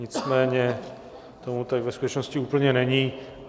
Nicméně tomu tak ve skutečnosti úplně není.